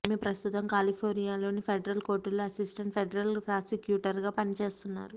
ఈమె ప్రస్తుతం కాలిపోర్నియాలోని ఫెడరల్ కోర్టులో అసిస్టెంట్ ఫెడరల్ ప్రాసిక్యూటర్ గా పనిచేస్తున్నారు